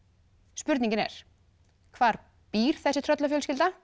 spurningin er hvar býr þessi